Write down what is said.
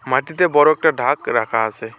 মাটিতে বড়ো একটা ঢাক রাখা আসে।